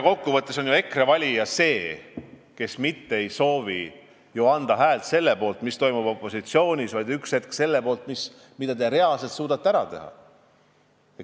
Kokkuvõttes ei soovi ju EKRE valija anda häält selle poolt, mida tehakse opositsioonis, vaid ta tahab üks hetk anda oma häält selle poolt, mida te reaalselt suudate ära teha.